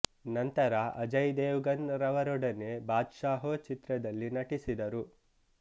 ನಂತರ ಅಜಯ್ ದೇವ್ ಗನ್ ರವರೊಡನೆ ಬಾದ್ಶಾಹೊ ಚಿತ್ರದಲ್ಲಿ ನಟಿಸಿದರು